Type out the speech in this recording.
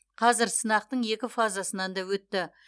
қазір сынақтың екі фазасынан да өтті